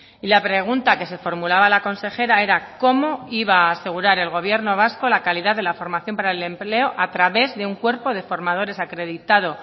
y la pregunta que se formulaba la consejera era cómo iba a asegurar el gobierno vasco la calidad de la formación para el empleo a través de un cuerpo de formadores acreditado